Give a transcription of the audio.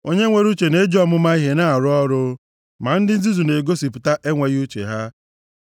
Onye nwere uche na-eji ọmụma ihe nʼarụ ọrụ, ma ndị nzuzu na-egosipụta enweghị uche ya.